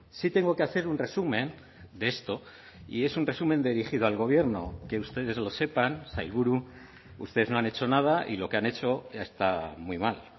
sí tengo que hacer un resumen de esto y es un resumen dirigido al gobierno que ustedes lo sepan sailburu ustedes no han hecho nada y lo que han hecho está muy mal